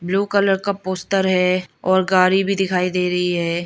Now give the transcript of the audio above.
Blue colour का poster है और गाड़ी भी दिखाई दे रही है।